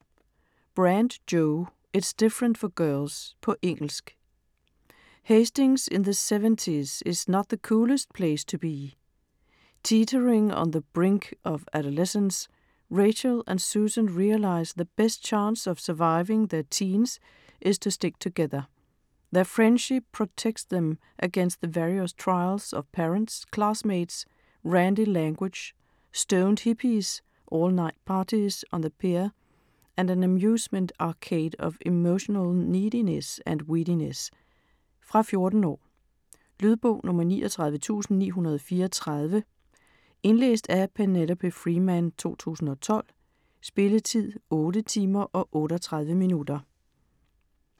Brand, Jo: It's different for girls På engelsk. Hastings in the seventies is not the coolest place to be. Teetering on the brink of adolescence, Rachel and Susan realise the best chance of surviving their teens is to stick together. Their friendship protects them against the various trials of parents, classmates, randy language, stoned hippies, all-night parties on the pier and an amusement arcade of emotional neediness and weediness. Fra 14 år. Lydbog 39934 Indlæst af Penelope Freeman, 2012. Spilletid: 8 timer, 38 minutter.